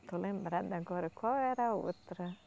Estou lembrada agora, qual era a outra?